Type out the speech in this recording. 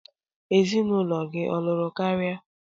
Ezinụlọ gị ọ lụrụ karịa?